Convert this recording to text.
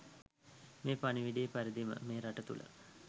මේ පණිවිඩයේ පරිදිම මේ රට තුල